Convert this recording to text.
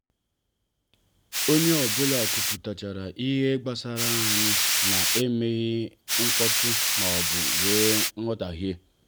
onye ọ bụla kwupụtara ihe gbasara anyị na emeghị mkpọtụ maọbụ wee nghotahio